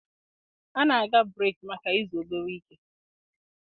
A na-aga breeki maka izu obere ike.